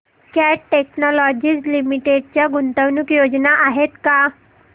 cat technologies limited च्या गुंतवणूक योजना आहेत का